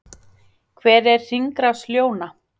hver er hringrás ljóna